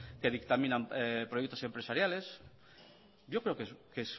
que dictaminan proyectos empresariales yo creo que